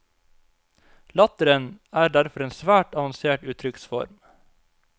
Latteren er derfor en svært avansert uttrykksform.